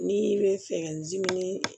N'i bɛ fɛ dimi